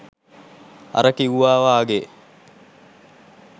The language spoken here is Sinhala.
අර කිව්වා වගේ